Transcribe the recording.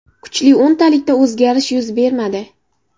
Kuchli o‘ntalikda o‘zgarish yuz bermadi.